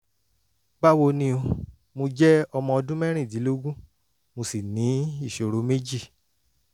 báwo ni o? mo jẹ ọmọ ọdún mẹ́rìndínlógún mo sì ní ìṣòro méjì